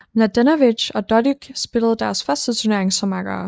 Mladenovic og Dodig spillede deres første turnering som makkere